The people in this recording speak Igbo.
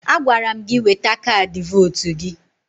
Agwara m gị weta kaadị votu gị!